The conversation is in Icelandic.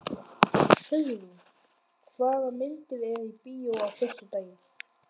Hugrún, hvaða myndir eru í bíó á föstudaginn?